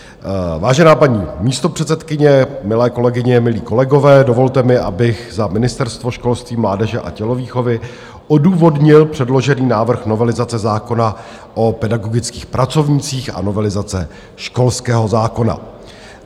Vážená paní místopředsedkyně, milé kolegyně, milí kolegové, dovolte mi, abych za Ministerstvo školství, mládeže a tělovýchovy odůvodnil předložený návrh novelizace zákona o pedagogických pracovnících a novelizace školského zákona.